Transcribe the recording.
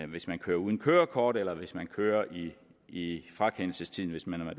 hvis man kører uden kørekort eller hvis man kører i i frakendelsestiden hvis man har